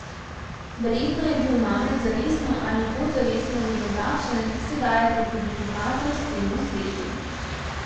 Verjetno je bil Mamet zavestno ali podzavestno vedno takšen, sedaj je to tudi pokazal vsemu svetu.